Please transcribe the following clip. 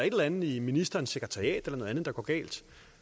et eller andet i ministerens sekretariat eller noget andet der går galt